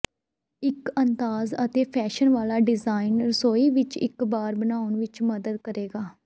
ਇੱਕ ਅੰਦਾਜ਼ ਅਤੇ ਫੈਸ਼ਨ ਵਾਲਾ ਡਿਜਾਈਨ ਰਸੋਈ ਵਿੱਚ ਇੱਕ ਬਾਰ ਬਣਾਉਣ ਵਿੱਚ ਮਦਦ ਕਰੇਗਾ